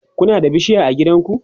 Kuna da bishiya a gidanku?